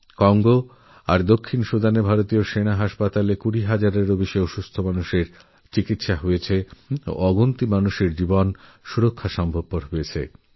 Congo আর দক্ষিণ সুদানে ভারতীয় সেনার হাসপাতালে কুড়ি হাজারেরও বেশিরোগীর চিকিৎসা হয়েছে এবং অগুন্তি মানুষকে বাঁচানো হয়েছে